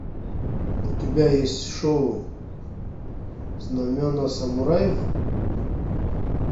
у тебя есть шоу знамена самураев